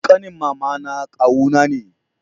ƙanin mama na kawu na ne